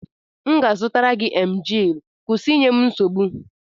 m ga-azụtara gị Emgịl kwụsị inye m nsogbu!